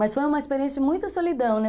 Mas foi uma experiência de muita solidão, né?